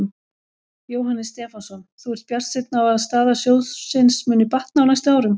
Jóhannes Stefánsson: Þú ert bjartsýnn á að staða sjóðsins muni batna á næstu árum?